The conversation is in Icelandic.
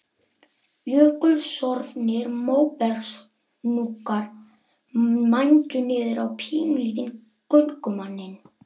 Jökulsorfnir móbergshnúkar mændu niður á pínulítinn göngumanninn.